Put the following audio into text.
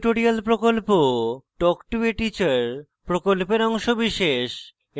spoken tutorial প্রকল্প talk to a teacher প্রকল্পের অংশবিশেষ